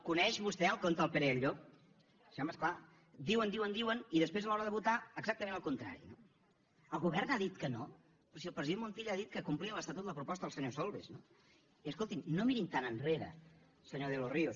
coneix vostè el conte del pere i el llop sí home és clar diuen diuen diuen i després a l’hora de votar exactament el contrari no el govern ha dit que no però si el president montilla ha dit que complia l’estatut la proposta del senyor solbes no i escolti’m no mirin tan enrere senyor de los ríos